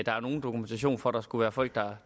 er nogen dokumentation for at der skulle være folk der